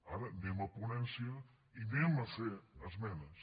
ara anem a ponència i farem esmenes